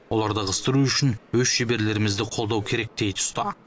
оларды ығыстыру үшін өз шеберлерімізді қолдау керек дейді ұста